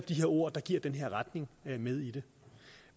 der ord der giver den her retning med i det